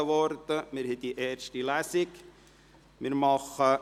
Wir führen die erste Lesung durch.